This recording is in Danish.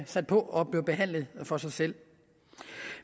sat på og behandlet for sig selv